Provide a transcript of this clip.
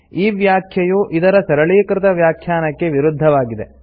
ಈ ವ್ಯಾಖ್ಯೆಯು ಇದರ ಸರಳೀಕೃತ ವ್ಯಾಖ್ಯಾನಕ್ಕೆ ವಿರುದ್ಧವಾಗಿದೆ